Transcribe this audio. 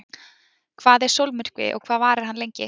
Hvað er sólmyrkvi og hvað varir hann lengi?.